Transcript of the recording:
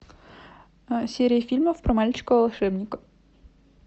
серия фильмов про мальчика волшебника